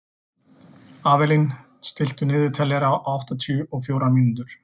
Avelín, stilltu niðurteljara á áttatíu og fjórar mínútur.